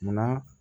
Munna